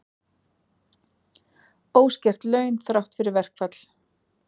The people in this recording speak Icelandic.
Óskert laun þrátt fyrir verkfall